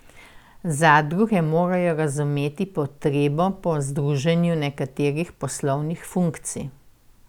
Zadruge morajo razumeti potrebo po združevanju nekaterih poslovnih funkcij.